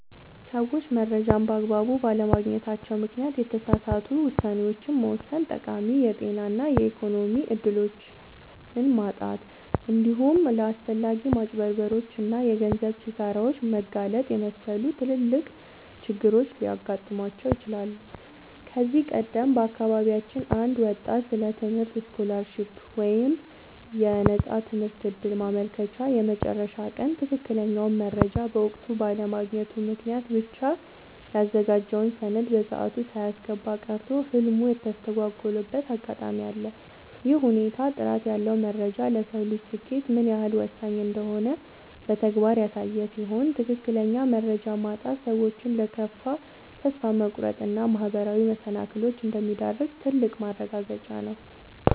ሰዎች መረጃን በአግባቡ ባለማግኘታቸው ምክንያት የተሳሳቱ ውሳኔዎችን መወሰን፣ ጠቃሚ የጤና እና የኢኮኖሚ እድሎችን ማጣት፣ እንዲሁም ለአላስፈላጊ ማጭበርበሮች እና የገንዘብ ኪሳራዎች መጋለጥን የመሰሉ ትላልቅ ችግሮች ሊገጥሟቸው ይችላሉ። ከዚህ ቀደም በአካባቢያችን አንድ ወጣት ስለ ትምህርት ስኮላርሺፕ (የነፃ ትምህርት ዕድል) ማመልከቻ የመጨረሻ ቀን ትክክለኛውን መረጃ በወቅቱ ባለማግኘቱ ምክንያት ብቻ ያዘጋጀውን ሰነድ በሰዓቱ ሳያስገባ ቀርቶ ህልሙ የተስተጓጎለበት አጋጣሚ አለ። ይህ ሁኔታ ጥራት ያለው መረጃ ለሰው ልጅ ስኬት ምን ያህል ወሳኝ እንደሆነ በተግባር ያሳየ ሲሆን፣ ትክክለኛ መረጃ ማጣት ሰዎችን ለከፋ ተስፋ መቁረጥ እና ማህበራዊ መሰናክሎች እንደሚዳርግ ትልቅ ማረጋገጫ ነው።